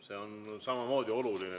See on ju samamoodi oluline.